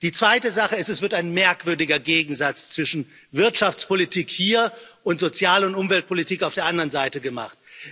Die zweite Sache ist, es wird ein merkwürdiger Gegensatz zwischen Wirtschaftspolitik hier und Sozial und Umweltpolitik auf der anderen Seite gemacht.